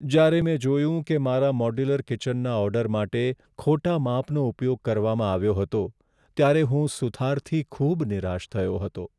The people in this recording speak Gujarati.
જ્યારે મેં જોયું કે મારા મોડ્યુલર કિચનના ઓર્ડર માટે ખોટા માપનો ઉપયોગ કરવામાં આવ્યો હતો, ત્યારે હું સુથારથી ખૂબ નિરાશ થયો હતો.